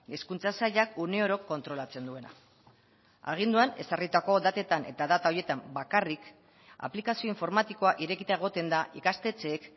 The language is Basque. hezkuntza sailak uneoro kontrolatzen duena aginduan ezarritako datetan eta data horietan bakarrik aplikazio informatikoa irekita egoten da ikastetxeek